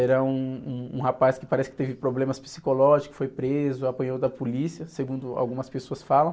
Era um, um, um rapaz que parece que teve problemas psicológicos, foi preso, apanhou da polícia, segundo algumas pessoas falam.